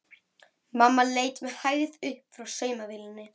Mamma leit með hægð upp frá saumavélinni.